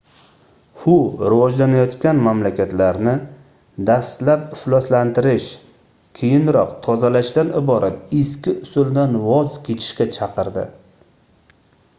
hu rivojlanayotgan mamlakatlarni dastlab ifloslantirish keyinroq tozalashdan iborat eski usuldan voz kechish"ga chaqirdi